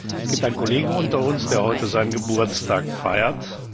Es gibt einen Kollegen unter uns, der heute seinen Geburtstag feiert.